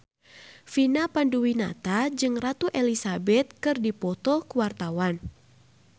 Vina Panduwinata jeung Ratu Elizabeth keur dipoto ku wartawan